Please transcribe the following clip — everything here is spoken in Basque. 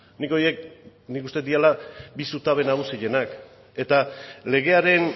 nik horiek nik uste dut direla bi zutabe nagusienak eta legearen